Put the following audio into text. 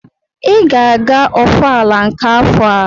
Ị ga-aga ọfala nke afọ a!